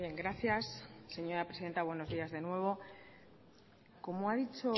gracias señora presidenta buenos días de nuevo como ha dicho